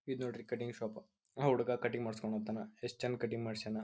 ಇದ ನೋಡ್ರಿ cutting shop. ಆ ಹುಡಗ ಕಟಿಂಗ್ ಮಾಡ್ಸ್ಕೊಳಕ್ ಹತನ ಎಸ್ಟ್ ಚೆನ್ನಾಗ್ ಕಟಿಂಗ್ ಮಾಡ್ಸಯಾನ.